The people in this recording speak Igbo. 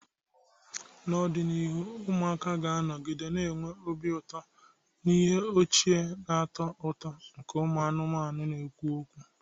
N'ọdịnihu, ụmụaka ga-anọgide na-enwe obi ụtọ na ihe ọchị na-atọ ụtọ nke ụmụ anụmanụ na-ekwu okwu.